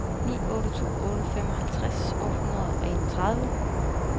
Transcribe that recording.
ni otte to otte femoghalvtreds otte hundrede og enogtredive